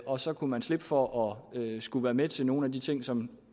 og så kunne man slippe for at skulle være med til nogle af de ting som